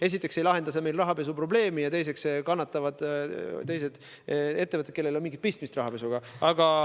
Esiteks ei lahenda see meil rahapesuprobleemi ja teiseks kannatavad teised ettevõtted, kellel ei ole rahapesuga mingit pistmist.